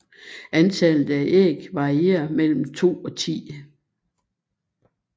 Antallet af æg varierer mellem to og ti